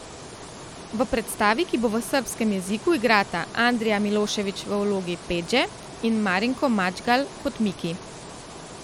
V predstavi, ki bo v srbskem jeziku, igrata Andrija Milošević v vlogi Pedje in Marinko Madžgalj kot Miki.